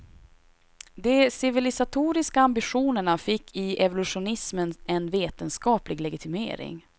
De civilisatoriska ambitionerna fick i evolutionismen en vetenskaplig legitimering.